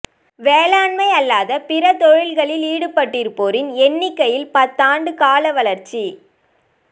வேளாண்மை அல்லாத பிற தொழில்களில் ஈடுபட்டிருப்போரின் எண்ணிக்கையில் பத்தாண்டு கால வளர்ச்சி